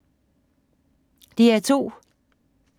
DR2